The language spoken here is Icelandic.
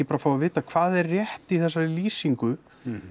bara að fá að vita hvað er rétt í þessari lýsingu